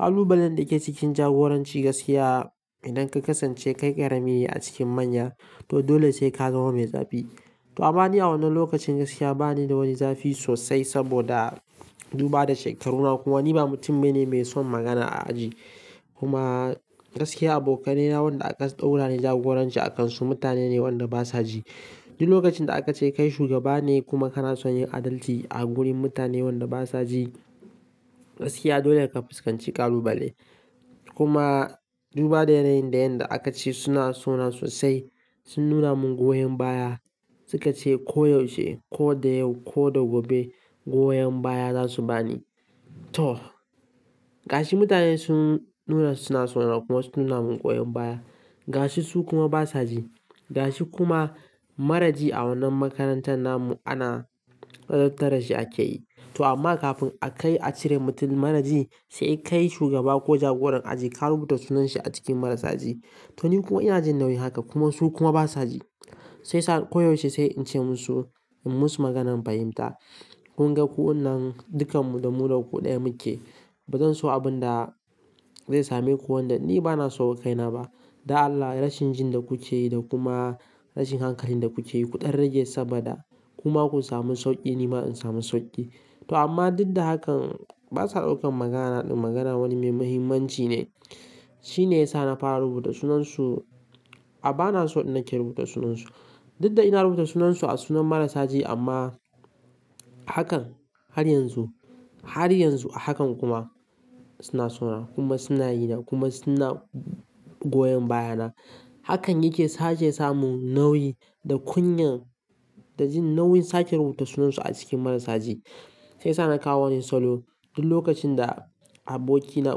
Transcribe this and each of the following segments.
Ƙalubalen da ke cikin jagoranci gaskiya idan ka kasance kai ƙarami ne a cikin manya to dole sai ka zama mai zafi. To ammani a wannan lokacin gaskiya ba ni da wani zafi sosai saboda duba da shekaruna kuma ni ba mutum bane mai son magana a aji. Kuma gaskiya abokanai na waɗanda aka ɗaura ni jagoranci a kansu mutane ne waɗanda basa ji. Duk lokacin da aka ce kai shugaba ne kuma kana son yin adalci a gurin mutane waɗanda basa ji, gaskiya dole ka fuskanci ƙalubale. Kuma duba da yanayin da yanda aka ce suna sona sosai, sun nuna mun goyon baya, suka ce ko yaushe ko da yau ko da gobe goyon baya za su bani. To, ga shi mutane sun nuna suna sona kuma sun nuna mun goyon baya. Ga shi su kuma basa ji. Ga shi kuma maraji a wannan makarantar namu ana ladabtar da shi ake yi. To amma kafin a kai a cire mutum maraji, sai kai shugaba ko jagoran aji ka rubuta sunan shi a cikin marasa ji. To ni kuma ina jin nauyin haka kuma su kuma basa ji. Shi yasa ko yaushe sai in ce musu, in musu maganan fahimta. Kun ga ku wannan dukan mu da mu da ku ɗaya muke. Ba zan so abin da zai same ku wanda ni ba na so wa kai na ba. Dan Allah rashin jin da kuke yi da kuma rashin hankalin da kuke yi ku dan rage saboda kuma ku samu sauƙi nima in samu sauƙi. To amma duk da hakan basa daukan maganana ɗin magana wani mai mahimmanci ne. Shi ne ya sa na fara rubuta sunansu a-- ba na so din nake rubuta sunansu. Duk da ina rubuta sunansu a sunan marasa ji amma hakan har yanzu, har yanzu a hakan kuma suna sona kuma suna yina kuma suna goyon bayana. Hakan yake sa ce ya samu nauyi da kunyan da jin nauyin sake rubuta sunansu a cikin marasa ji. Sai sa na kawo wani salo. Duk lokacin da abokina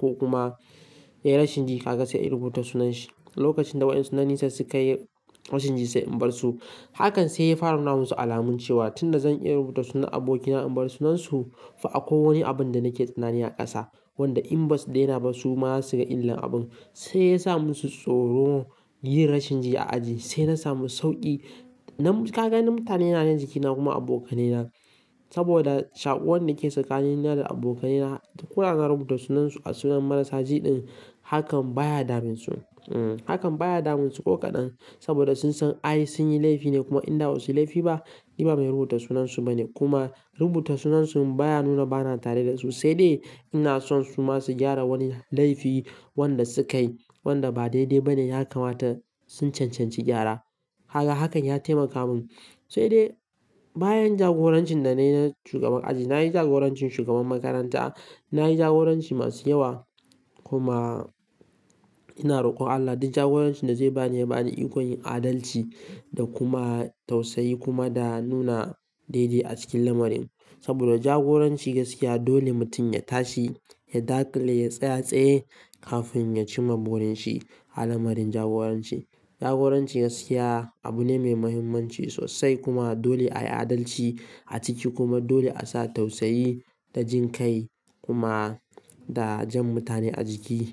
ko kuma ya yi rashin ji haka sai in rubuta sunan shi. Lokacin da waɗansu na nesa suka yi rashin ji sai in bar su. Hakan sai ya fara na musu alamun cewa tun da zan iya rubuta sunan abokina in bar sunansu, fa akwai wani abin da nake tsanani a ƙasa wanda in ba su daina ba su ma za su ga illan abun. Sai ya sa musu tsoro yin rashin ji a aji sai na samu sauƙi. Nan kaga mutane na ne jikina kuma abokanai na. Saboda shaƙuwar da ke tsakanin ni da abokanai na. Koda na rubuta sunansu a sunan marasa ji ɗin hakan baya damun su. Hmm, hakan baya damun su ko kaɗan saboda sun san ai sun yi laifi ne kuma in dawo su laifi ba, ni ba mai rubuta sunansu ba ne. Kuma rubuta sunansu baya nuna bana tare da su. Sai dai ina son su ma su gyara wani laifi wanda sukayi wanda ba daidai ba ne ya kamata sun cancanci gyara. Kaga hakan ya taimaka mun. Sai dai bayan jagorancin da na yi na shugaban aji, na yi jagorancin shugaban makaranta, na yi jagoranci masu yawa kuma ina rokon Allah duk jagoranci da zai ba ni ya ba ni iko yin adalci da kuma tausayi kuma da nuna daidai a cikin lamarin. Saboda jagoranci gaskiya dole mutum ya tashi, ya dakile, ya tsaye tsaye kafin ya ci mama burin shi a lamarin jagoranci. Jagoranci gaskiya abu ne mai mahimmanci sosai kuma dole a yi adalci a ciki kuma dole a sa tausayi da jin kai kuma da jan mutane a jiki.